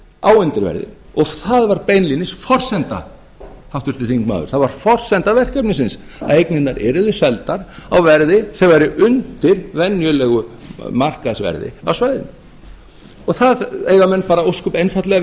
á undirverði og það var beinlínis forsenda háttvirtur þingmaður það var forsenda verkefnisins að eignirnar yrðu seldar á verði sem væri undir venjulegu markaðsverði á svæðinu það eiga menn bara ósköp einfaldlega að